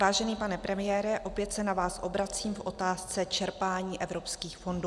Vážený pane premiére, opět se na vás obracím v otázce čerpání evropských fondů.